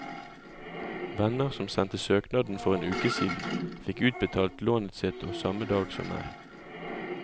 Venner som sendte søknaden for en uke siden, fikk utbetalt lånet sitt samme dag som meg.